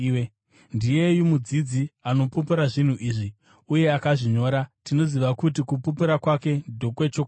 Ndiyeyu mudzidzi anopupura zvinhu izvi, uye akazvinyora. Tinoziva kuti kupupura kwake ndokwechokwadi.